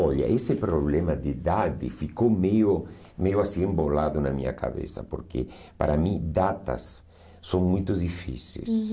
Olha, esse problema de idade ficou meio meio assim embolado na minha cabeça, porque para mim datas são muito difíceis. Hum